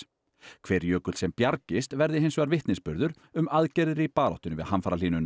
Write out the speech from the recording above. hver jökull sem bjargist verði hins vegar vitnisburður um aðgerðir í baráttunni við